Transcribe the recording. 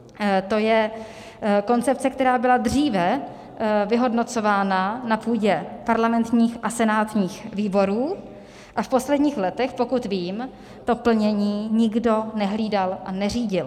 To je koncepce, která byla dříve vyhodnocována na půdě parlamentních a senátních výborů, a v posledních letech, pokud vím, to plnění nikdo nehlídal a neřídil.